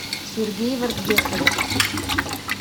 сергей вардгесович